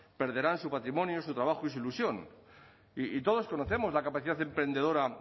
perderán su patrimonio su trabajo y su ilusión y todos conocemos la capacidad emprendedora